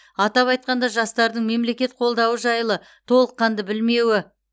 атап айтқанда жастардың мемлекет қолдауы жайлы толыққанды білмеуі